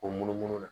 O munumunu na